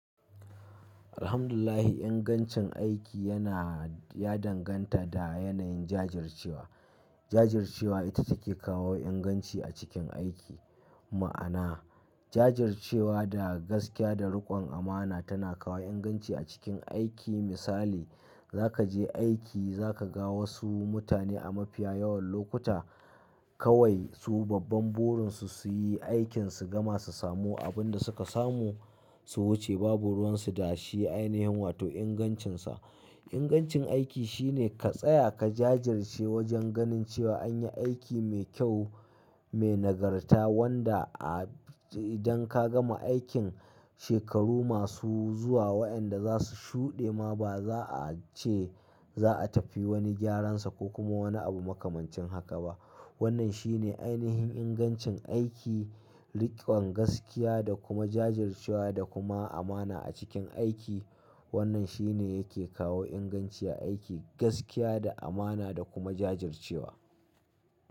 Alhamdulillah ingancin aiki yana, ya danganta da yanayin jajircewa. Jajircewa ita take kawo inganci a cikin aiki. Ma'ana jajircewa da gaskiya da riƙon amana tana kawo inganci a cikin aiki. Misali za ka je aiki, za ka ga wasu mutane a mafiya yawan lokuta kawai su babban burin su su yi aikinsu gama su samu abin da suka samu, su wuce babu ruwan su da shi. Ainihin wato ingancinsa. Ingancin aiki shine ka tsaya ka jajirce wajen ganin cewa an yi aiki mai kyau, mai nagarta wanda a idan ka gama aikin shekaru masu zuwa waɗanda za su shuɗe ma ba za a ce za a tafi wani gyaran sa ko kuma wani abu makamancin haka ba. Wannan shine ainihin ingancin aiki, riƙon gaskiya da kuma jajircewa da kuma amana a cikin aiki. Wannan shine yake kawo inganci a aiki, gaskiya da amana da kuma jajircewa.